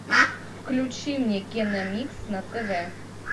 включи мне киномикс на тв